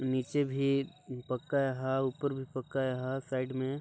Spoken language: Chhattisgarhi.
नीचे भी पक्का ए हा ऊपर भी पक्का ए हा साइड मे--